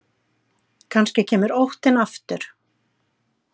Kannski kemur óttinn aftur.